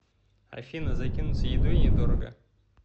афина закинуться едой недорого